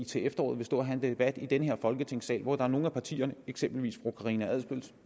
til efteråret vil stå og have en debat i folketingssalen hvor der er nogle af partierne eksempelvis fru karina adsbøls